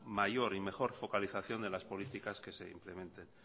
mayor y mejor focalización de las políticas que se implementen